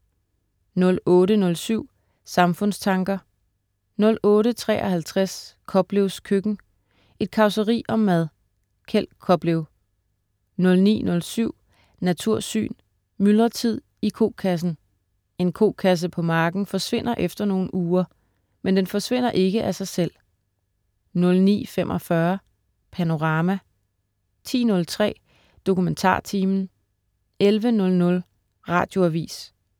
08.07 Samfundstanker* 08.53 Koplevs køkken. Et causeri om mad. Kjeld Koplev 09.07 Natursyn. Myldretid i kokassen. En kokasse på marken forsvinder efter nogle uger. Men den forsvinder ikke af sig selv 09.45 Panorama* 10.03 DokumentarTimen* 11.00 Radioavis